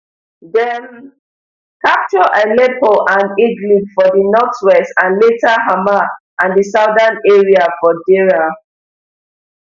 dem capture aleppo and idlib for di northwest and later hama and di southern area for deraa